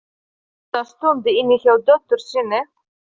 Hann var góða stund inni hjá dóttur sinni.